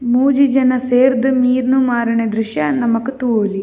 ಮೂಜಿ ಜನ ಸೇರ್ದ್ ಮೀನ್ ಮಾರುನ ದ್ರುಶ್ಯ ನಮಕ್ ತೂವೊಲಿ.